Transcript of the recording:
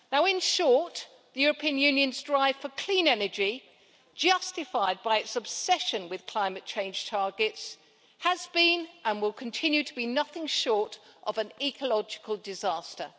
In short, the European Union's strive for clean energy, justified by its obsession with climate change targets, has been and will continue to be nothing short of an ecological disaster.